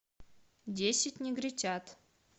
десять негритят